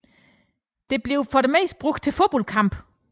Det blev for det meste brugt til fodboldkampe